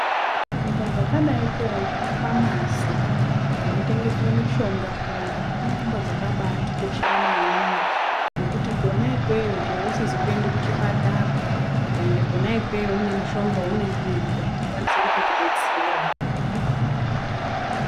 Nzvimbo dzakadai ngemafamasi kunotengeswa mushonga kuyani inzvimbo dzakabaatikoshera maningi. Ngekuti kona ikweyo chero usizi kuenda kuchipatara ukaenda kona ikweyo une mushonga waunenge weida unokwanisa kutokudetsera.